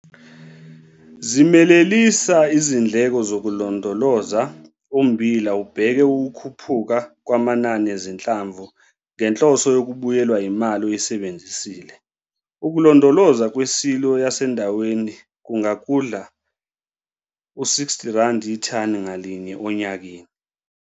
Zimelelisa izindleko zokulondoloza ummbila ubheke ukukhuphuka kwamanani ezinhlamvu ngenhloso yokubuyelwa yimali oyisebenzisile. Ukulondoloza kwisilo yasendaweni kungakudla uR60 ithani ngalinye onyakeni.